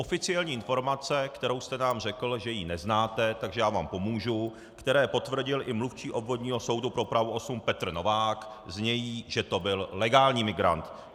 Oficiální informace, kterou jste nám řekl, že ji neznáte, takže já vám pomůžu, které potvrdil i mluvčí Obvodního soudu pro Prahu 8 Petr Novák, znějí, že to byl legální migrant.